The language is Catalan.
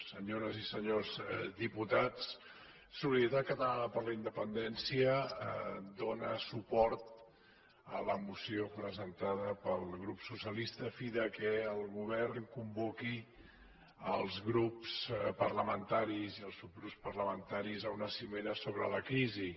senyores i senyors diputats solidaritat catalana per la independència dóna suport a la moció presentada pel grup socialista a fi que el govern convoqui els grups parlamentaris i els subgrups parlamentaris a una cimera sobre la crisi